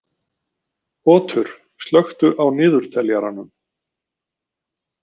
Otur, slökktu á niðurteljaranum.